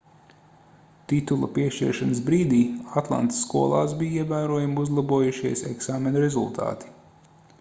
titula piešķiršanas brīdī atlantas skolās bija ievērojami uzlabojušies eksāmenu rezultāti